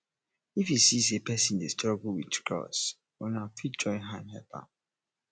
if you see sey person dey struggle with chores una fit join hand help am